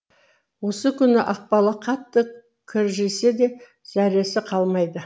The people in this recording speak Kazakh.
осы күні ақбала қатты кіржисе де зәресі қалмайды